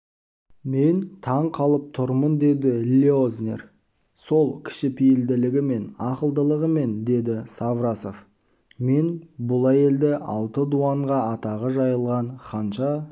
мен таң қалып тұрмын деді леознер сол кішіпейілділігімен ақылдылығымен деді саврасов мен бұл әйелді алты дуанға атағы жайылған ханша